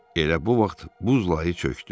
Elə bu vaxt buz layı çökdü.